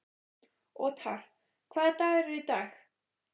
Othar, hvaða dagur er í dag?